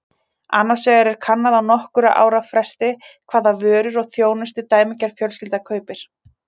Annars vegar er kannað á nokkurra ára fresti hvaða vörur og þjónustu dæmigerð fjölskylda kaupir.